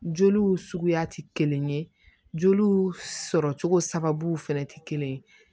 Joliw suguya tɛ kelen ye joliw sɔrɔcogo sababu fɛnɛ tɛ kelen ye